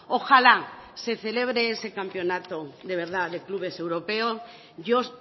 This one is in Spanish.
ojalá se celebre ese campeonato de verdad de clubes europeos yo